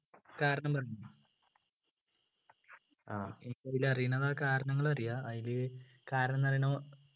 കാരണം പറഞ്ഞോ എനിയ്ക്കതിൽ അറിയുന്നതാ കാരണങ്ങൾ അറിയാ അയില് കാരണം പറയണോ